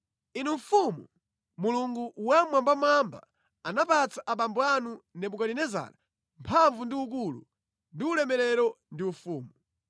“Inu mfumu, Mulungu Wammwambamwamba anapatsa abambo anu Nebukadinezara mphamvu ndi ukulu ndi ulemerero ndi ufumu.